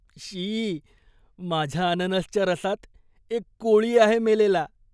शी! माझ्या अननसच्या रसात एक कोळी आहे मेलेला.